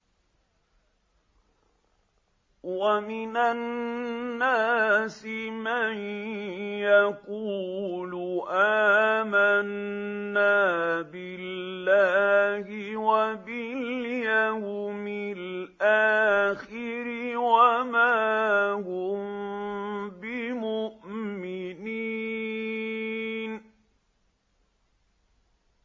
وَمِنَ النَّاسِ مَن يَقُولُ آمَنَّا بِاللَّهِ وَبِالْيَوْمِ الْآخِرِ وَمَا هُم بِمُؤْمِنِينَ